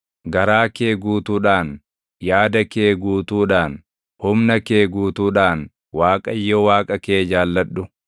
Garaa kee guutuudhaan, yaada kee guutuudhaan, humna kee guutuudhaan Waaqayyo Waaqa kee jaalladhu.